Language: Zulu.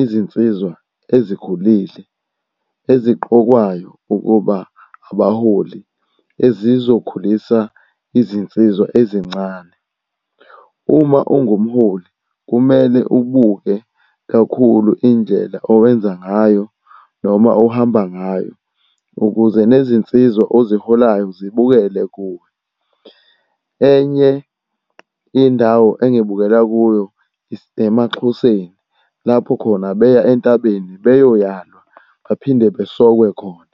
izinsizwa ezikhulile eziqokwayo ukuba abaholi ezizokhulisa izinsizwa ezincane. Uma ungumholi kumele ubuke kakhulu indlela owenza ngayo noma ohamba ngayo ukuze nezinsizwa oziholayo zibukele kuwe. Enye indawo ungibukela kuyo isemaXhoseni, lapho khona beya entabeni bayoyalwa, baphinde besokwe khona.